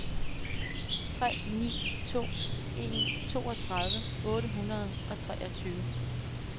tre ni to en toogtredive otte hundrede og treogtyve